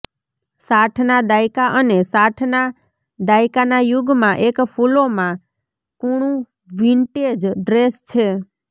સાઠના દાયકા અને સાઠના દાયકાના યુગમાં એક ફૂલોમાં કૂણું વિન્ટેજ ડ્રેસ છે